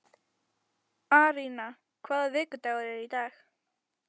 Arína, hvaða vikudagur er í dag?